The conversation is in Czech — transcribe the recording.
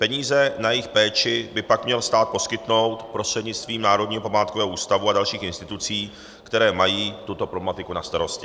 Peníze na jejich péči by pak měl stát poskytnout prostřednictvím Národního památkového ústavu a dalších institucí, které mají tuto problematiku na starosti.